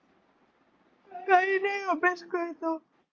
काही नाही अभ्यास करतो.